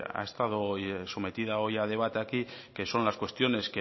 ha estado sometida hoy a debate aquí que son las cuestiones